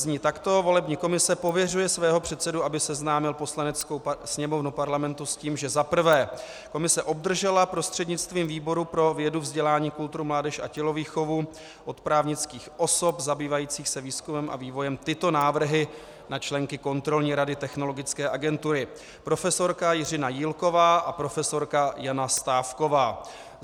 Zní takto: "Volební komise pověřuje svého předsedu, aby seznámil Poslaneckou sněmovnu Parlamentu s tím, že - za prvé - komise obdržela prostřednictvím výboru pro vědu, vzdělání, kulturu, mládež a tělovýchovu od právnických osob zabývajících se výzkumem a vývojem tyto návrhy na členky Kontrolní rady Technologické agentury: profesorka Jiřina Jílková a profesorka Jana Stávková.